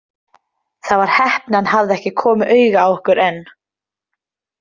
Það var heppni að hann hafði ekki komið auga á okkur enn.